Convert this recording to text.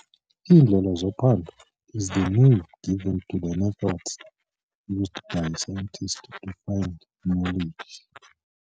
Iindlela zophando is the name given to the methods used by scientists to find knowledge.